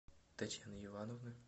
татьяны ивановны